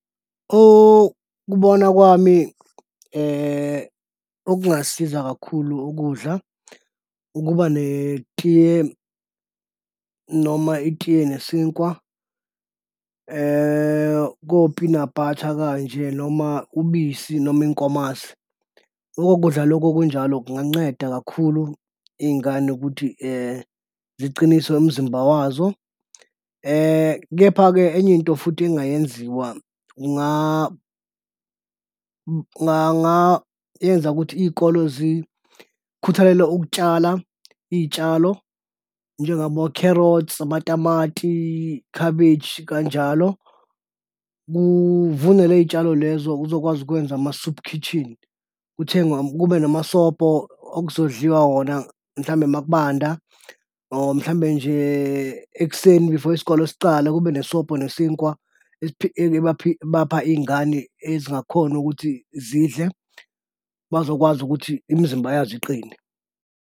Ukubona kwami okungasiza kakhulu ukudla, ukuba netiye noma itiye nesinkwa ko-peanut butter kanje, noma ubisi noma inkomazi. Loko kudla loko okunjalo kunganceda kakhulu iy'ngane ukuthi ziqiniswe umzimba wazo. Kepha-ke enye into futhi engayenziwa kungayenza ukuthi iy'kole zikhuthalele ukutshala iy'tshalo njengabo-carrots, amatati, cabbage, kanjalo. Kuvunwe ley'tshalo lezo kuzokwazi ukwenza ama-soup kitchen kuthengwe kube namasobho okuzodliwa wona mhlawumbe uma kubanda, or mhlawumbe nje ekuseni before isikolo esiqala kube nesobho nesinkwa ebapha iy'ngane ezingakhoni ukuthi zidle, bazokwazi ukuthi imizimba yazo iqine.